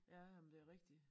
Ja ja men det er rigtigt